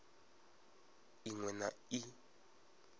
i ṅ we na i